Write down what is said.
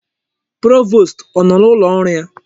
Provost ọ nọ n'ụlọ ọrụ ya?